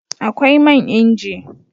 Akwai man inji